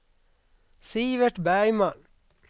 Sivert Bergman